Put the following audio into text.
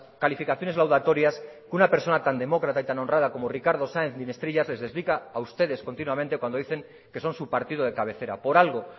calificaciones laudatorias que una persona tan demócrata y tan honrada como ricardo sáenz de ynestrillas les explica a ustedes continuamente cuando dicen que son su partido de cabecera por algo